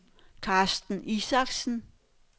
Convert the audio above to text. Carsten Isaksen